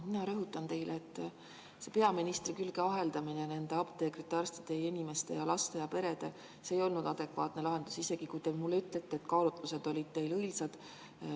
Mina rõhutan teile, et apteekrite ja arstide ja laste ja perede peaministri külge aheldamine ei olnud adekvaatne lahendus, isegi kui te mulle ütlete, et kaalutlused olid teil õilsad.